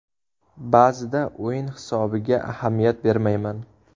Ba’zida o‘yin hisobiga ahamiyat bermayman.